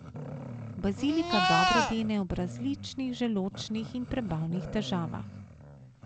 Bazilika dobro dene ob različnih želodčnih in prebavnih težavah.